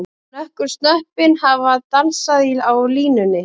Nokkur snöppin hafa dansað á línunni.